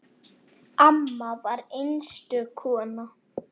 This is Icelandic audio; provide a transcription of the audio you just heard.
Amma var einstök kona.